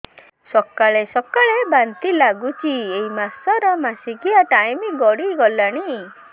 ସକାଳେ ସକାଳେ ବାନ୍ତି ଲାଗୁଚି ଏଇ ମାସ ର ମାସିକିଆ ଟାଇମ ଗଡ଼ି ଗଲାଣି